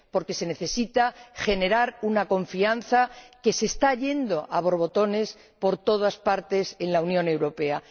Porque se necesita generar una confianza que se está yendo a borbotones por todas partes en la Unión Europea.